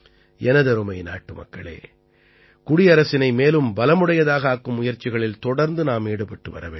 எனதருமை நாட்டுமக்களே குடியரசினை மேலும் பலமுடையதாக ஆக்கும் முயற்சிகளில் தொடர்ந்து நாம் ஈடுபட்டுவர வேண்டும்